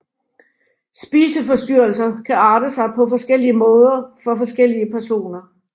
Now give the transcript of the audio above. Spiseforstyrrelser kan arte sig på forskellige måder for forskellige personer